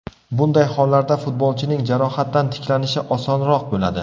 Bunday hollarda futbolchining jarohatdan tiklanishi osonroq bo‘ladi.